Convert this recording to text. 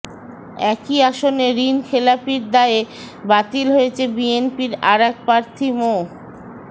একই আসনে ঋণখেলাপীর দায়ে বাতিল হয়েছে বিএনপির আরেক প্রার্থী মো